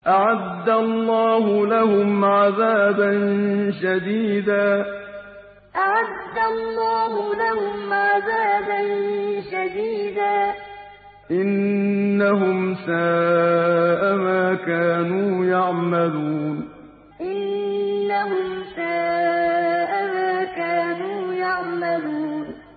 أَعَدَّ اللَّهُ لَهُمْ عَذَابًا شَدِيدًا ۖ إِنَّهُمْ سَاءَ مَا كَانُوا يَعْمَلُونَ أَعَدَّ اللَّهُ لَهُمْ عَذَابًا شَدِيدًا ۖ إِنَّهُمْ سَاءَ مَا كَانُوا يَعْمَلُونَ